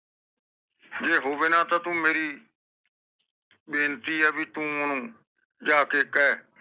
ਜੇ ਹੋਵੇ ਨਾ ਤਾ ਤੂੰ ਮੇਰੀ ਬੇਨਤੀ ਆ ਭਾਈ ਤੂੰਜਾਕੇ ਕਹਿ